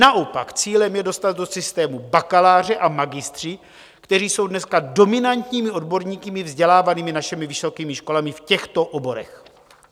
Naopak, cílem je dostat do systému bakaláře a magistry, kteří jsou dneska dominantními odborníky vzdělávanými našimi vysokými školami v těchto oborech.